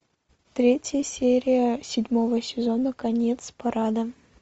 третья серия седьмого сезона конец парада